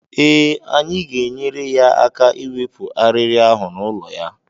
Eh, anyị ga-enyere ya aka ịwepụ arịrị ahụ n'ụlọ ya.